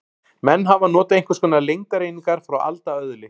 Menn hafa notað einhvers konar lengdareiningar frá alda öðli.